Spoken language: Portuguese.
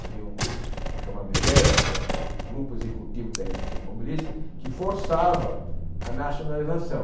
Havia um grupo chamado Gea, que era o Grupo Executivo da Indústria Automobilística, que forçava a nacionalização.